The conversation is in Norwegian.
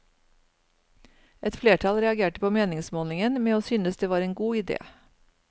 Et flertall reagerte på meningsmålingen med å synes det var en god idé.